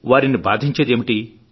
వారిని బాధించేది ఏమిటి